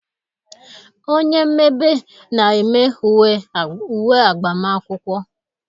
Onye mmebe na-eme uwe agbamakwụkwọ